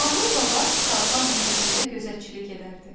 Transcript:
Mahir Baba Xalxal meşəsində gözətçilik edərdi.